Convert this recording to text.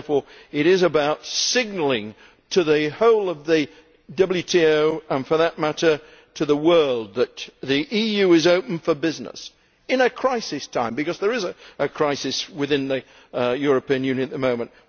Therefore it is about signalling to the whole of the WTO, and for that matter to the world, that the EU is open for business and at a crisis time, because there is a crisis within the European Union at the moment.